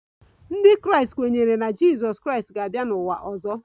Ndị Kraịst kwenyere na Jizọs Kraịst ga-abịa n'ụwa ọzọ